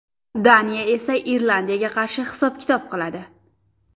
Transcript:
Daniya esa Irlandiyaga qarshi hisob-kitob qiladi.